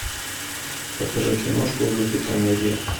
покажи киношку в духе комедия